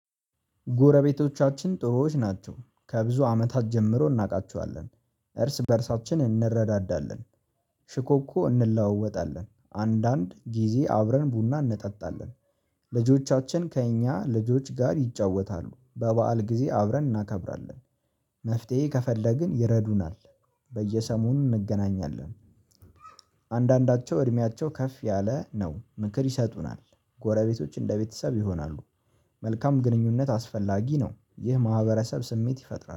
ጎረቤቶቻችን ጥሩዎች ናቸው ከብዙ አመታት ጀምሮ እናውቃቸዋለን እርስ በእርሳችን እንረዳዳለን። ሽኮኮ እንለዋወጣለን አንዳንድ ጊዜ አብረን ቡና እንጠጣለን። ልጆቻችን ከእኛ ልጆች ጋር ይጫወታሉ በበዓል ጊዜ አብረን እናከብራለን። መፍትሄ ከፈለግን ይረዱናል። በየሰሞኑ እንገናኛለን። አንዳንዳቸው እድሜያቸው ከፍ ያለ ነው ምክር ይሰጡናል። ጎረቤቶች እንደ ቤተሰብ ይሆናሉ። መልካም ግንኙነት አስፈላጊ ነው። ይህ ማህበረሰብ ስሜት ይፈጥራል